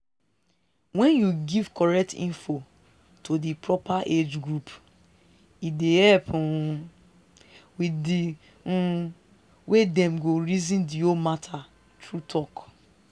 wen you give correct info to di proper age group e dey help um wit di um way dem go reason the whole matter true talk